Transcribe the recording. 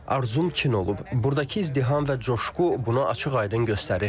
Arzum çin olub, buradakı izdiham və coşqu buna açıq-aydın göstərir.